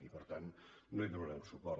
i per tant no hi donarem suport